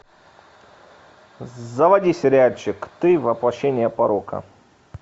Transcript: заводи сериальчик ты воплощение порока